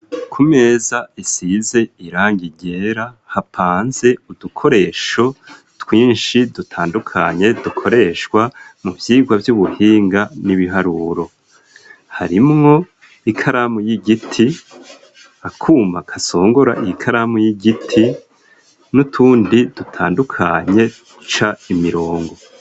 Ku meza isize irangi ryera hapanze udukoresho twinshi dutandukanye dukoreshwa mu byigwa by'ubuhinga n'ibiharuro harimwo ikaramu y'igiti akuma kasongora iyikaramu y'igiti n'utundi dutandukanye ca imirongo.